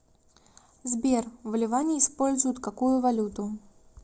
сбер в ливане используют какую валюту